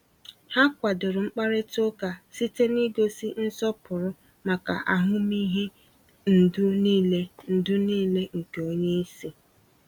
Ha kwadoro mkparịta ụka site n’ịgosi nsọpụrụ maka ahụmịhe ndụ niile ndụ niile nke onye isi.